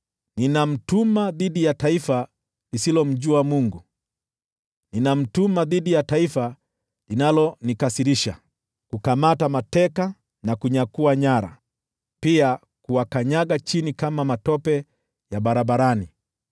Ninamtuma dhidi ya taifa lisilomjua Mungu, ninamtuma dhidi ya taifa linalonikasirisha, kukamata mateka na kunyakua nyara, pia kuwakanyaga chini kama matope ya barabarani.